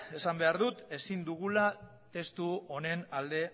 esan behar dut ezin dugula testu honen alde